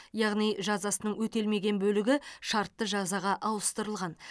яғни жазасының өтелмеген бөлігі шартты жазаға ауыстырылған